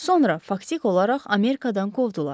Sonra faktik olaraq Amerikadan qovdular.